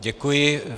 Děkuji.